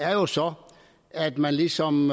er jo så at man ligesom